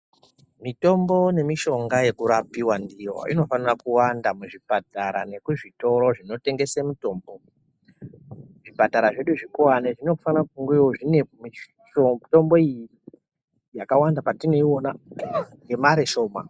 Mitombo nenishonga yekurapiwa ndiyo inofana kuwanda muzvipatara nekuzvitoro zvinotengese mitombo zvipatara zvedu zvekuwane zvinofana kungewo zvine mutombo iyi yakwandawo patinoiona nemare shoma.